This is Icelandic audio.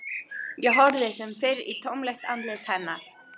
Ég horfði sem fyrr í tómlegt andlit hennar.